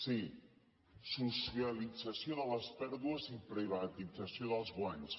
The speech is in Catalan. sí socialització de les pèrdues i privatització dels guanys